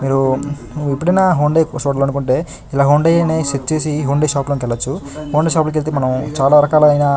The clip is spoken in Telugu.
మీరు ఎప్పుడైనా హొండై కొనాలని అనుకుంటే ఇలా హొండై అని సెట్ చేసి హ్యుందాయ్ షాప్ లో కెళ్లొచ్చు హొండై షాప్ లో కెళ్తే మనం చాల రకాలైన--